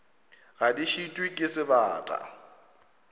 ga di šitwe ke sebata